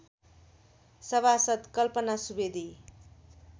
सभासद् कल्पना सुवेदी